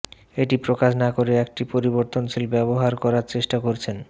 এটি প্রকাশ না করে একটি পরিবর্তনশীল ব্যবহার করার চেষ্টা করছেন